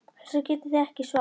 Þessu getið þið ekki svarað!